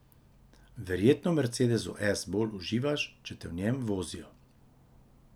Verjetno v mercedesu S bolj uživaš, če te v njem vozijo.